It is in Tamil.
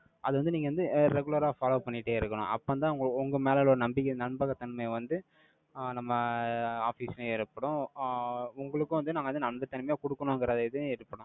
அது வந்து, நீங்க வந்து, regular ஆ follow பண்ணிட்டே இருக்கணும். அப்பதான், உ~ உங்க மேல உள்ள நம்பிக்கை, நம்பகத்தன்மை வந்து, ஆஹ் நம்ம office லயும் ஏற்படும். ஆஹ் உங்களுக்கும் வந்து, நாங்க வந்து, நம்பகத்தன்மை கொடுக்கணுங்கிற இது இருக்கும்.